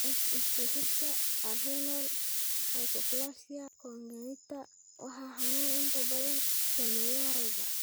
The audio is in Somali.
X isku xidhka adrenal hypoplasia congenita waa xanuun inta badan saameeya ragga.